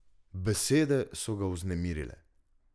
Besede so ga vznemirile.